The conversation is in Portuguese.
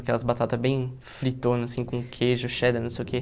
Aquelas batatas bem fritonas, assim, com queijo, cheddar, não sei o quê.